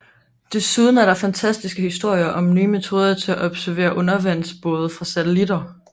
Desuden er der fantastiske historier om nye metoder til at observere undervandsbåde fra satellitter